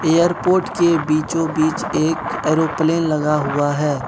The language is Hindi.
एयरपोर्ट के बीचों बीच एक एयरोप्लेन लगा हुआ है।